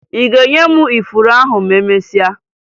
Ị ga-enye m ifuru ahụ ma emesịa?